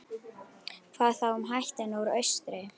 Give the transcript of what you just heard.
Hvað þá um hættuna úr austri?